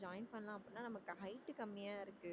join பண்ணலாம் அப்படின்னா நமக்கு height கம்மியா இருக்கு